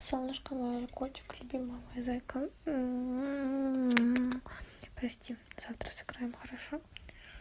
солнышко мой котик любимый мой зайка прости завтра сыграем хорошо